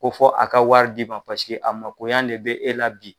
Ko fɔ a ka wari di ma paseke a mako ɲa de be e la bi.